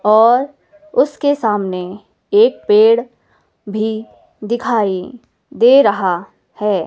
और उसके सामने एक पेड़ भी दिखाई दे रहा है।